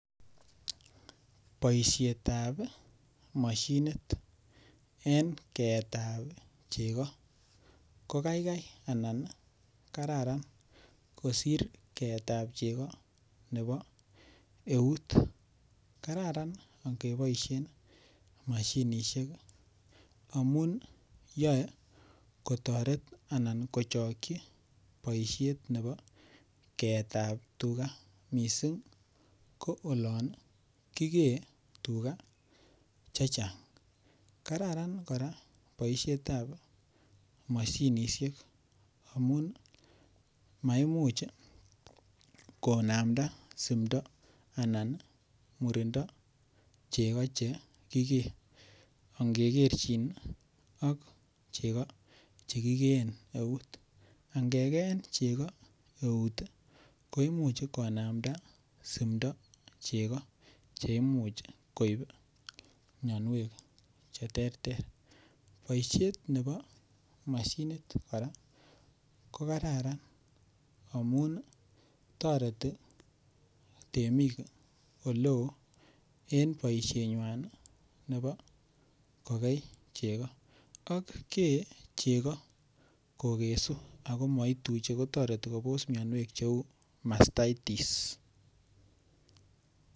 Boisietab mashinit en keetab chego ko kaikai anan kararan kosir keetab chego nebo eut, kararan ak koboisien mashinishek amun yae kotaret anan kochokchi boisiet nebo keetab tugaa miisik olon kikee tugaa chechang , kararan koraa boisietab mashinishek amun maimuch konamta sumto anan murindoo chego chekikee ang kekerchin chego chekikee eut angekeen chego eut koimuch konamda simto chego che imuch koib mnyonwek cheterter boisiet nebo mashinit ko kararan amun toreti temik oleo en boisienywan nebo kogei chego ak kee chego kokesu ago maituche kotereti Kobos mnyonwek masaitis.